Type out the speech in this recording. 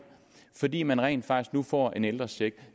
fordi man rent faktisk nu får en ældrecheck